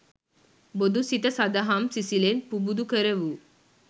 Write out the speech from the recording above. බොදු සිත සඳහම් සිසිලෙන් පුබුදු කරවූ